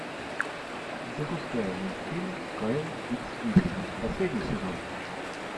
запускай мультфильм кайл икс игрек последний сезон